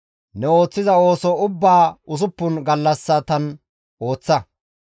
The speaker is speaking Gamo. Ne ooththiza ooso ubbaa usuppun gallassatan ooththa.